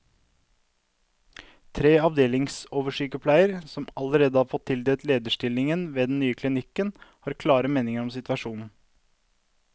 Tre avdelingsoversykepleiere, som allerede har fått tildelt lederstillinger ved den nye klinikken, har klare meninger om situasjonen.